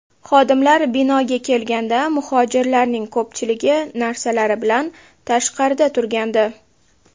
Xodimlar binoga kelganda, muhojirlarning ko‘pchiligi narsalari bilan tashqarida turgandi.